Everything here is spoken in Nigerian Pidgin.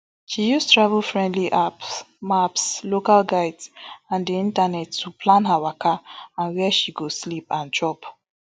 she use travel friendly apps maps local guides and di internet to plan her waka and wia she go sleep and chop